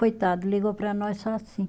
Coitado, ligou para nós só assim.